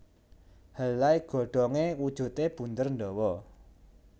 Helai godhonge wujude bunder ndawa